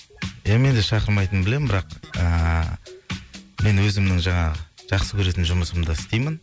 ия мен де шақырмайтынын білем бірақ ыыы мен өзімнің жаңағы жақсы көретін жұмысымды істеймін